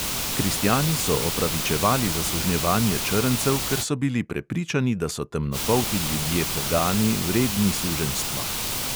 Kristjani so opravičevali zasužnjevanje črncev, ker so bili prepričani, da so temnopolti ljudje pogani, vredni suženjstva.